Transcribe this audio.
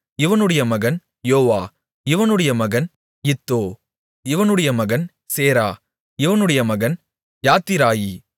இவனுடைய மகன் யோவா இவனுடைய மகன் இத்தோ இவனுடைய மகன் சேரா இவனுடைய மகன் யாத்திராயி